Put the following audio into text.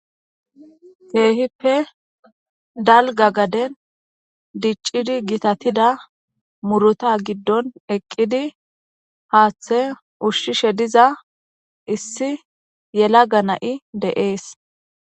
Keehippe dalga gaden diccidi gitatida muruta giddon eqqidi haaththe ushshishe diza issi yelaga na'i dees.